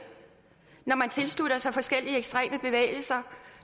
når man tilslutter sig forskellige ekstreme bevægelser